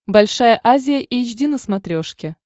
большая азия эйч ди на смотрешке